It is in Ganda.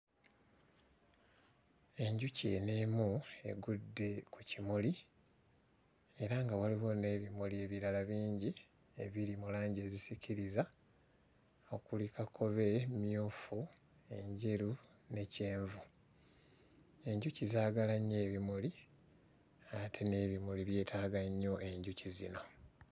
Enjuki eno emu egudde ku kimuli era nga waliwo n'ebimuli ebirala bingi ebiri mu langi ezisikiriza okuli kakobe, mmyufu enjeru ne kyenvu, enjuki zaagala nnyo ebimuli ate n'ebimuli byetaaga nnyo enjuki zino.